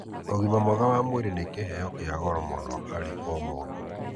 Ũgima mwega wa mwĩrĩ nĩ kĩheo kĩa goro mũno harĩ o mũndũ.